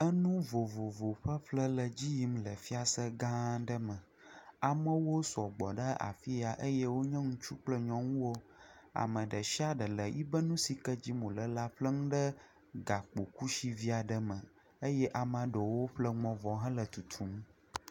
Enu vovovowo ƒeƒle le edzi yim le fiase gã aɖe me, amewo sɔgbɔ ɖe afiya eye wonye ŋutsu kple nyɔnuwo. Ame ɖe dia ɖe le yiƒe nu sike dzim wole la ƒlem ɖe gakpo kusivi aɖe me eye ameaɖewo ƒle nua vɔ hã hele tutum.